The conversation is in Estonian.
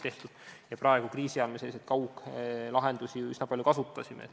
Nüüd kriisiajal me ju kasutasime selliseid kauglahendusi üsna palju.